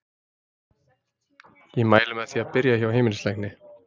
Ég mæli með því að byrja hjá heimilislækni.